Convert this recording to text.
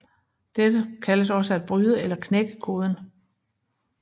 Dette kaldes også at bryde eller knække koden